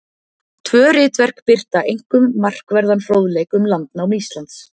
Tvö ritverk birta einkum markverðan fróðleik um landnám Íslands.